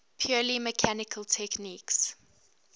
purely mechanical techniques